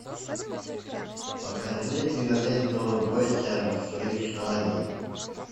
покажи киноленту бойся своих желаний